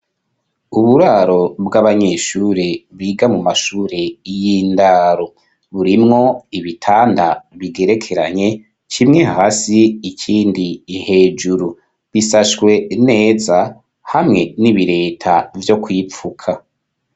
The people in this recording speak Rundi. Uburaro bw'abanyeshuri, biga mu mashuri y'indaro, burimwo ibitanda bigerekeranye, kimwe hasi ikindi hejuru, bisashwe neza, hamwe n'ibireta vyo kwipfuka.